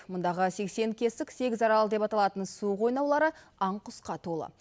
мұндағы сексен кесік сегіз арал деп аталатын су қойнаулары аң құсқа толы